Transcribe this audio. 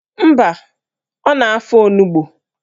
Mba, ọ na-afọ onugbo